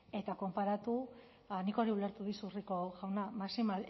eta konparatu nik hori ulertu dizut rico jauna